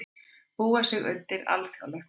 Búa sig undir alþjóðlegt mót